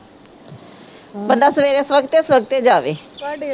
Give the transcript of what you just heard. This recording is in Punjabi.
ਬੰਦਾ ਸਵੇਰੇ ਸਵਖਤੇ ਸਵਖਤੇ ਜਾਵੇ